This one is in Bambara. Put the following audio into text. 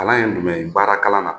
Kalan ye jumɛn ye? Baara kalan na